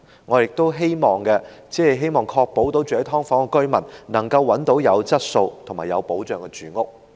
我們只是希望確保居於"劏房"的居民能夠找到有質素及有保障的住屋。